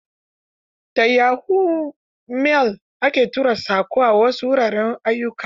Da yahoo mail ake tura saƙo a wasu wuraren ayyukan.